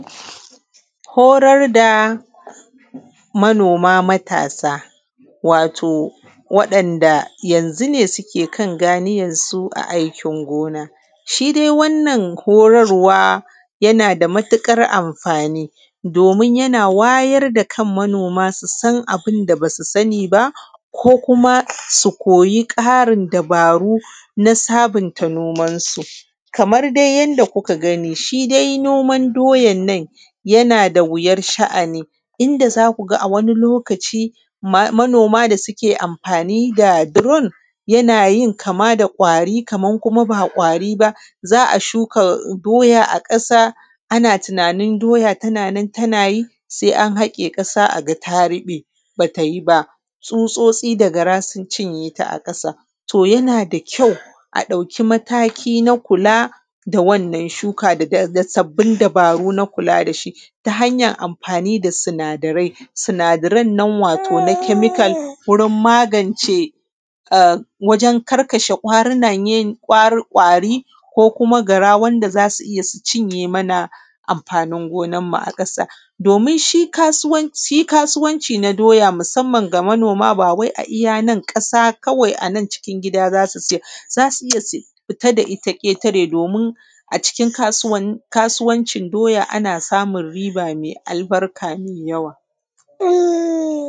Horar da manoma matasa, wato waɗanda yanzu ne suke kan ganiyan su a aikin gona. Shi dai wannan horarwa yana da matuƙar amfani, domin yana wayar da kan manuma su san abin da bas u sani ba. Ko kuma su koya ƙarin dabaru na sabanta nomansu. \Kamar dai yanda kuka gani shi dai noman doyan nan yana da wuyar sha’ani, inda za ku ga a wani lokaci, manoma da suke amfani da doron yana yin kama da ƙwari kaman kuma ba ƙwari ba. Za a shuka diya a ƙasa, ama tunanin doya tana nan tana yi, sai an haƙa ƙasa a ga ta riɓe, ba ta yi ba. Tsutsotsi sa gara sun cinye ta a ƙasa to yana da kyau, a ƙauki mataki na kula da wanan shuka da sabbin dabaru na kula da shi. Ta hanyan amfani da sinadarai, sinadaran nan ko na kemikal wurin magance ka wurin karkashe su wajein karkashe ƙwarinan yin ko ƙwari. ko kuma gara wanda za su iya cinye mana amfanin gonanmu a ƙasa. Domin shi kasuwanci na doya susamman ga manoma ba kai a iya nan ƙasa kawai a nan cikin gida za su sayar ba. za su iya fita da ita ƙetare domin a cikin kasuwancin doya ana samun riba mai albarka mai yawa.